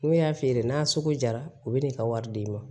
N'u y'a feere n'a sugu jara u bɛ n'i ka wari d'i ma